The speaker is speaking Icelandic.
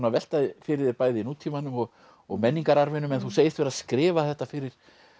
að velta fyrir þér bæði nútímanum og og menningararfinum en þú segist vera að skrifa þetta fyrir